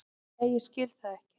Nei ég skil það ekki.